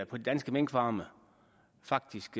på de danske minkfarme og faktisk